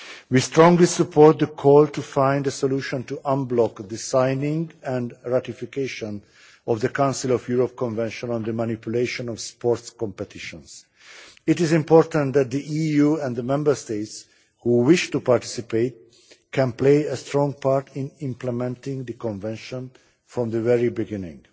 We strongly support the call to find a solution to unblock the signing and ratification of the Council of Europe Convention on the Manipulation of Sports Competitions. It is important that the EU and the Member States who wish to participate can play a strong part in implementing the Convention from the very beginning.